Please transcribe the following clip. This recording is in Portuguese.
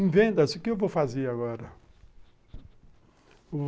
Em vendas, o que eu vou fazer agora?